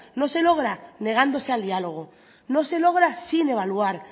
no se logra negándose al diálogo no se logra sin evaluar